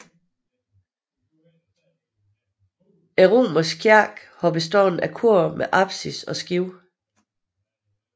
Den romanske kirke har bestået af kor med apsis og skib